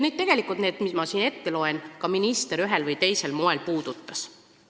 Tegelikult neid asju, mis ma siin ette loen, minister ka ühel või teisel moel puudutas.